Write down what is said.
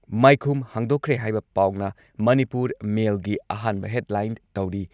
ꯃꯥꯏꯈꯨꯝ ꯍꯥꯡꯗꯣꯛꯈ꯭ꯔꯦ ꯍꯥꯏꯕ ꯄꯥꯎꯅ ꯃꯅꯤꯄꯨꯔ ꯃꯦꯜꯒꯤ ꯑꯍꯥꯟꯕ ꯍꯦꯗꯂꯥꯏꯟ ꯇꯧꯔꯤ ꯫